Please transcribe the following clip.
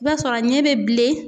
I ba sɔrɔ a ɲɛ be bilen.